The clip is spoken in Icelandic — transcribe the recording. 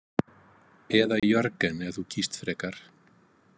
Eða Jörgen ef þú kýst frekar